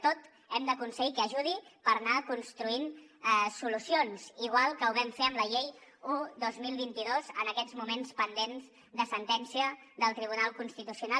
tot hem d’aconseguir que ajudi per anar construint solucions igual que ho vam fer amb la llei un dos mil vint dos en aquests moments pendent de sentència del tribunal constitucional